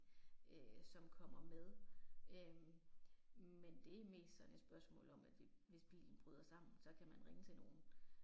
Øh som kommer med øh. Men det er mest sådan et spørgsmål om at det hvis bilen bryder sammen, så kan man ringe til nogen